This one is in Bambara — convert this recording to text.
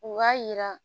U b'a yira